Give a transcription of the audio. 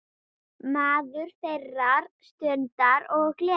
Maður þeirrar stundar og gleði.